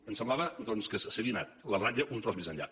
em semblava doncs que s’havia anat la ratlla un tros més enllà